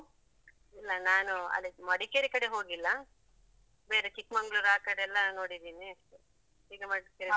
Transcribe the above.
ಇಲ್ಲ ನಾನು ಅದೇ ಮಡಿಕೇರಿ ಕಡೆ ಹೋಗಿಲ್ಲಾ, ಬೇರೆ ಚಿಕ್ಮಂಗ್ಳೂರ್ ಆಕಡೆಲ್ಲ ನೋಡಿದೀನಿ ಅಷ್ಟೇ, ಈಗ ಮಡಿಕೇರಿ